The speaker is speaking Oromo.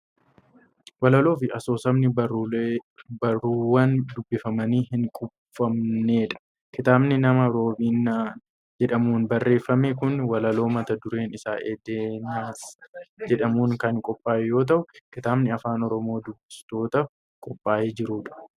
Walaloo fi asoosamni barruuwwan dubbifamanii hin quufamnedha. Kitaabni nama Roobinan jedhamuun barreeffame kun walaloo mata dureen isaa 'Edenas' jedhuun kan qophaa'e yoo ta'u, kitaaba afaan Oromoon dubbistootaaf qophaa'ee jiru dha.